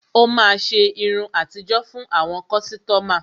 Ó máa ṣe irun àtijó fún àwọn kọ́sítọ́mà.